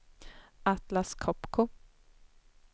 Atlas Copco